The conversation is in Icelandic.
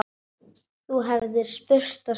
Þú hefðir spurt og spurt.